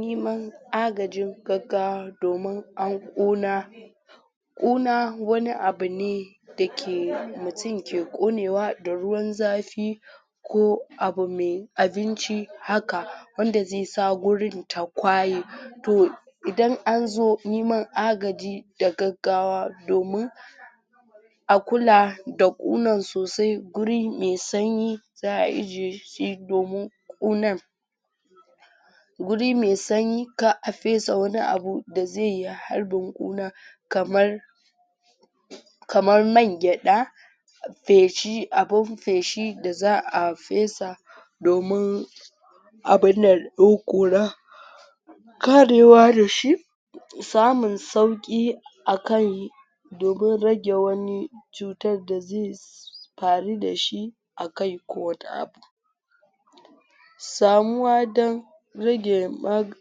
Niman agajin gaggawa domin ƙuna. Ƙuna wani abune dake mutum ke ƙonewa da ruwan zafi ko abu me abinci haka, wanda zaisa gurin ta kwaye to idan anzo niman agaji da gaggawa domin a kula da ƙunan sosai gurin mai sanyi za'a ije shi domin ƙunan guri mai sanyi kar a fesa wani abu da zai harbin ƙuna kamar kamar man gyaɗa feshi abun feshi da za'a fesa domin abunda karewa dashi samun sauƙi akan domin rage wani cutan da zai faru dashi akai ko wani abu samuwa dan rage mag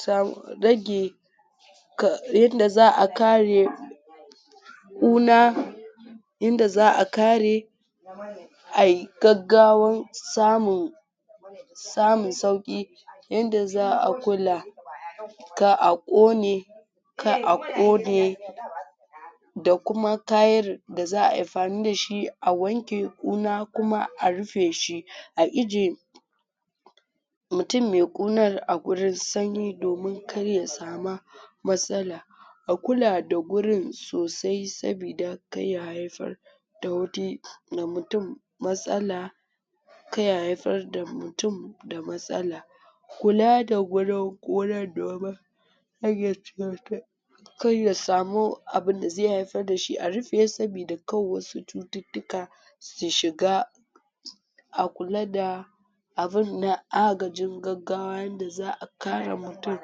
sam rage ka. Yanda za'a kare ƙuna yanda za'a kare ayi gaggawan samu samun sauƙi, yanda za'a kula kar a ƙone kar a ƙone da kuma kayar da za'ayi amfani dashi a wanke ƙuna kuma a rufe shi,a ije mutum me ƙunar a gurin sanyi domin kar ya sama matsala. A kula da gurin sosai sabida kar ya haifar da wani da mutum matsala kar ya haifarwa mutum da matsala. Kula da gurin ƙunar domin rage cuta karya samu abunda zai haifar dashi, a rufe sabida kar wasu cututtuka su shiga, a kula da abun na agajin gaggawa yanda za'a kare mutum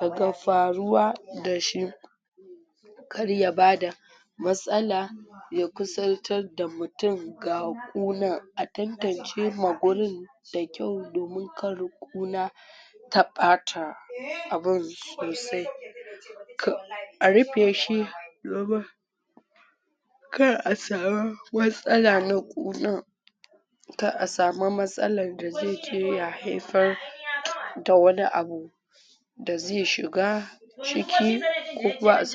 daga faruwa dashi karya bada matsala ya kusaltar da mutum ga ƙunar, a tantancewa ma gurin da kyau domin kar ƙuna ta ɓata abun sosai, ka a rufe shi domin kar a sama matsala na ƙuna kar a samu matsalan da zai je ya haifar da wani abu da zai shiga ciki ku kuma a samu.